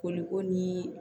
Koli ko ni